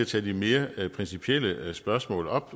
tage de mere principielle spørgsmål op